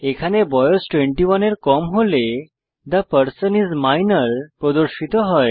এখানে বয়স 21 এর কম হলে থে পারসন আইএস মাইনর প্রদর্শিত হয়